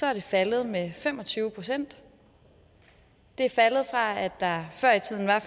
er det faldet med fem og tyve procent det er faldet fra at der før i tiden var